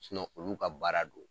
olu ka baara don.